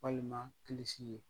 Walima an bɛ